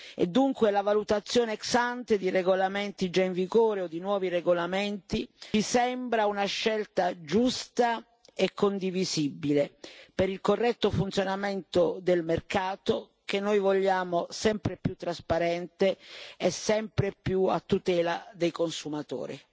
E dunque la valutazione ex ante di regolamenti già in vigore o di nuovi regolamenti ci sembra una scelta giusta e condivisibile per il corretto funzionamento del mercato, che noi vogliamo sempre più trasparente e sempre più a tutela dei consumatori.